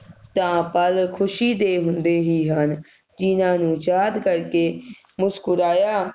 ਤਾ ਪਲ ਖੁਸ਼ੀ ਦੇ ਹੁੰਦੇ ਹੀ ਹਨ ਜਿਨ੍ਹਾਂ ਨੂੰ ਯਾਦਾਂ ਕਰਕੇ ਮੁਸਕੁਰਾਇਆ